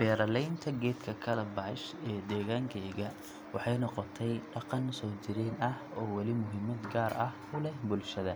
Beralaynta geedka calabash ee degaankeyga waxay noqotay dhaqan soo jireen ah oo weli muhiimad gaar ah u leh bulshada.